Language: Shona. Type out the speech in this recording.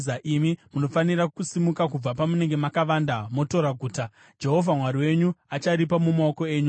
imi munofanira kusimuka kubva pamunenge makavanda motora guta. Jehovha Mwari wenyu acharipa mumaoko enyu.